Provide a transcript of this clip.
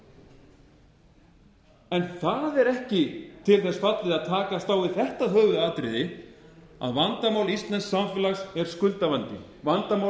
verulegum vanda það er ekki til þess fallið að takast á við þetta höfuðatriði að vandamál íslensks samfélags er skuldavandi vandamál íslensks samfélags yfir höfuð er